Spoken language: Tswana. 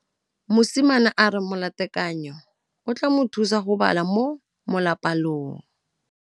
Mosimane a re molatekanyô o tla mo thusa go bala mo molapalong.